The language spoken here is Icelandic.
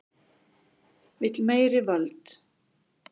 Vill meiri völd